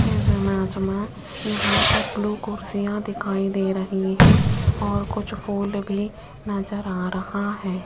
इस इमेज में यहां पर ब्लू कुर्सियां दिखाई दे रही है और कुछ फूल भी नजर आ रहा है।